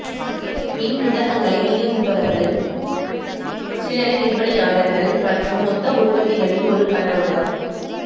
மின்புத்தகங்களை விநியோகிப்பவர்கள் சில்லறை விற்பனையாளர்கள் மற்றும் மொத்த உற்பத்திகளின் ஒரு கண்ணோட்டம்